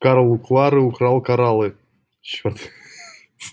карл у клары украл кораллы черт